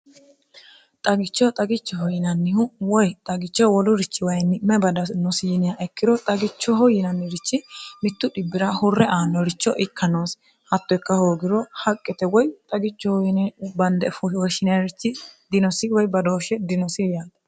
xagichoho xagichoho yinannihu woy xagichoho wolurichi wayinni may badanosi yiniyaha ikkiro xagichoho yinanniricho mittu dhibbira hurre aanoricho ikka noosi hatto ikka hoogiro haqqete woy xagichoho yine bande woshineerichi dinosi woy badooshshe dinosi yaate